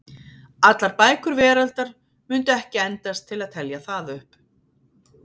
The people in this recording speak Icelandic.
Allar bækur veraldar mundu ekki endast til að telja það upp.